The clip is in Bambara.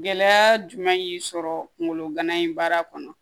Gɛlɛya jumɛn y'i sɔrɔ kungolo gana in baara kɔnɔ